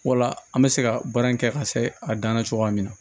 Wala an bɛ se ka baara in kɛ ka se a dan na cogoya min na